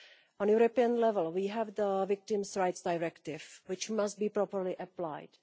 At EU level, we have the Victims' Rights Directive, which must be properly applied.